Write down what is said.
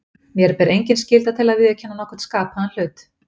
Mér ber engin skylda til að viðurkenna nokkurn skapaðan hlut.